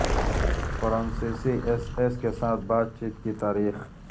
فرانسیسی S S کے ساتھ بات چیت کی تاریخ